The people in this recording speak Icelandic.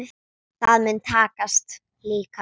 Það mun takast líka.